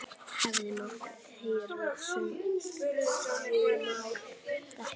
Hefði mátt heyra saumnál detta.